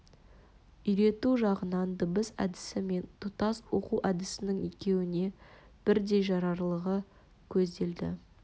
үйрету жағынан дыбыс әдісі мен тұтас оқу әдісінің екеуіне бірдей жарарлығы көзделді